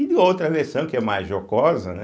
E de outra versão, que é mais jocosa, né?